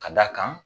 Ka d'a kan